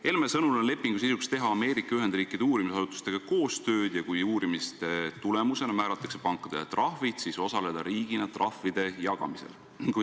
Helme sõnul on lepingu sisuks teha Ameerika Ühendriikide uurimisasutustega koostööd ja kui selle tulemusena määratakse pankadele trahvid, siis osaleda riigina trahvide jagamisel.